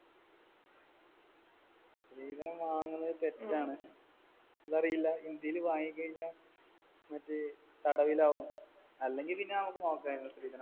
സ്ത്രീധനം വാങ്ങണത് തെറ്റാണ്. അതറിയില്ല? ഇന്ത്യയില് വാങ്ങിക്കഴിഞ്ഞാൽ മറ്റേ തടവിലാവും. അല്ലെങ്കിൽ പിന്നെ നമുക്ക് നോക്കായിരുന്നു.